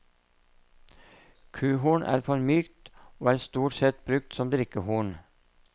Kuhorn er for mykt, og er stort sett brukt som drikkehorn.